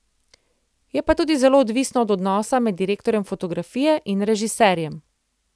Je pa to tudi zelo odvisno od odnosa med direktorjem fotografije in režiserjem.